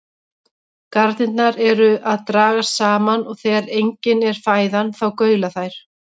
Garnirnar eru að dragast saman og þegar engin er fæðan þá gaula þær.